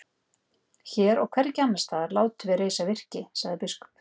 Hér og hvergi annars staðar látum við reisa virki, sagði biskup.